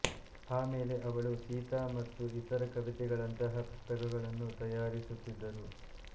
ಆಮೆಲೆ ಅವಳು ಸಿತಾ ಮತ್ತು ಇತರ ಕವಿತೆಗಳಂತಹ ಪುಸ್ತಕಗಳನ್ನು ತಯಾರಿಸುತ್ತಿದ್ದರು